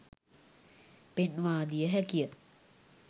පෙන්වාදිය හැකිය.